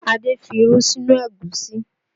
Adé fi irú sí inú Ẹ̀gúsí